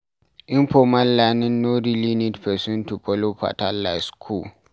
Informal learning no really need person to follow pattern like for school